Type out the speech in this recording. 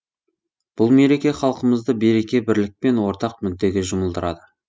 бұл мереке халқымызды береке бірлік пен ортақ мүддеге жұмылдырады